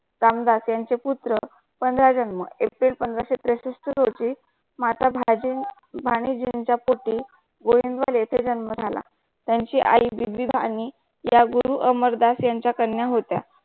रामदास त्यांचे पुत्र पंधरा जन्म एप्रिल पंधराशे त्रेसष्ठ होती माताभजें मानेनजी च्या प्रति ते जन्म झाला त्यांची आई विभी बानी या गुरु अमरदास यांच्या कन्या होत्या.